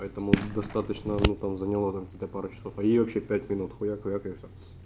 поэтому достаточно ну там заняло там какие-то пару часов а ей вообще пять минут хуяк хуяк и всё